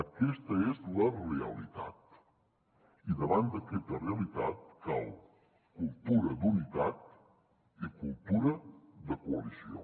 aquesta és la realitat i davant d’aquesta realitat cal cultura d’unitat i cultura de coalició